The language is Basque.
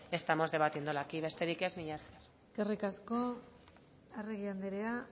estamos debatiéndolo aquí besterik ez mila esker eskerrik asko arregi andrea